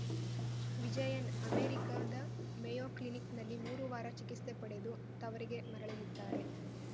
ವಿಜಯನ್‌ ಅಮೆರಿಕದ ಮೇಯೋ ಕ್ಲಿನಿಕ್‌ನಲ್ಲಿ ಮೂರು ವಾರ ಚಿಕಿತ್ಸೆ ಪಡೆದು ತವರಿಗೆ ಮರಳಲಿದ್ದಾರೆ